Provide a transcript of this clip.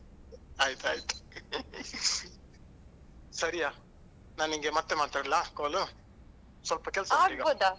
ಆಯ್ತಾಯ್ತು ಸರಿಯಾ ನಾನ್ ನಿನ್ಗೆ ಮತ್ತೆ ಮಾತಾಡ್ಲ call ಲ್ಲು ಸ್ವಲ್ಪ ಕೆಲ್ಸಉಂಟು ಈಗ.